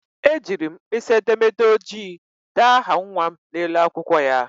Ejiri m mpkisi edemede ojii dee aha nnwa m n'elu akwụkwọ ya..